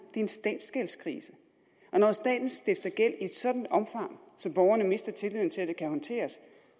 en statsgældskrise og når staten stifter gæld i et sådant omfang at borgerne miste tilliden til at det kan håndteres